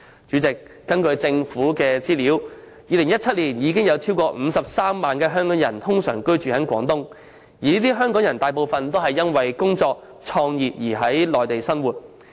主席，根據政府的資料 ，2017 年已有超過53萬名香港人通常在廣東居住，這些港人大部分都是因工作及創業而在內地生活。